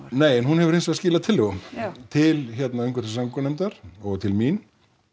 nei en hún hefur hins vegar skilað tillögum já til umhverfis og samgöngunefndar og til mín